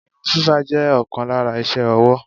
Irun fífá jẹ́ ọ̀kan lára iṣé owó.